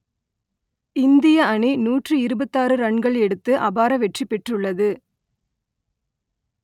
இந்திய அணி நூற்று இருபத்தாறு ரன்கள் எடுத்து அபார வெற்றி பெற்றுள்ளது